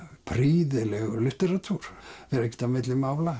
prýðilegur litteratúr það fer ekkert á milli mála